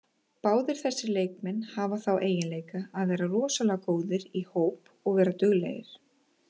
Báðir þessir leikmenn hafa þá eiginleika að vera rosalega góðir í hóp og vera duglegir.